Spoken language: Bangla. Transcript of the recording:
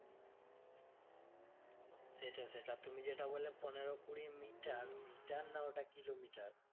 সেটা সেটা তুমি যেটা বললে পনেরো কুড়ি মিটার, মিটার না ওটা কিলোমিটার?